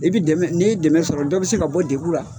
I bɛ dɛmɛ n'i ye dɛmɛ sɔrɔ dɔ bɛ se ka bɔ degun ra.